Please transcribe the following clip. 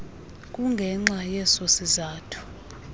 kungenxa yeso sizathu